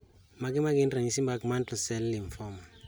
Mage magin ranyisi mag Mantle cell lymphoma